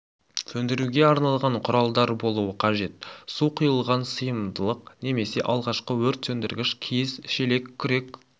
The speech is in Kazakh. сөндіруге арналған құралдар болуы қажет су құйылған сыйымдылық немесе алғашқы өрт сөндіргіш киіз шелек күрек